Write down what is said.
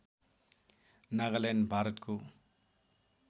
नागालैन्ड भारतको